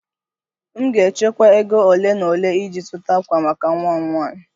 M ga-echekwa ego ole na ole iji zụta ákwà maka nwa m nwanyị